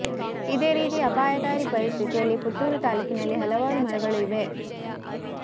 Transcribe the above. ಇದೆ ರೀತಿ ಅಪಾಯಕಾರಿ ಪರಿಸ್ಥಿತಿಯಲ್ಲಿ ಪುತ್ತೂರು ತಾಲೂಕಿನಲ್ಲಿ ಹಲವಾರು ಮರಗಳು ಇವೆ